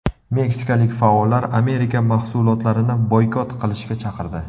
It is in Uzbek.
Meksikalik faollar Amerika mahsulotlarini boykot qilishga chaqirdi.